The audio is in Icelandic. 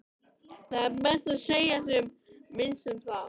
Það er best að segja sem minnst um það.